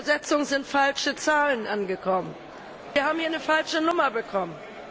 Bei der Übersetzung sind falsche Zahlen angekommen. Wir haben eine falsche Nummer bekommen.